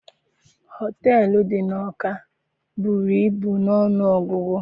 Họteelụ dị n'Ọka buru ibu n'ọnụ ọgụgụ.